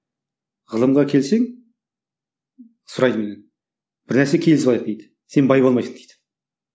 ғылымға келсең сұрайды менен бір нәрсеге келісіп алайық дейді сен бай болмайсың дейді